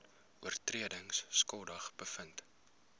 oortredings skuldig bevind